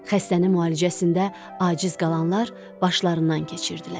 Xəstənin müalicəsində aciz qalanlar başlarından keçirdilər.